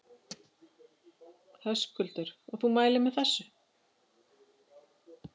Höskuldur: Og þú mælir með þessu?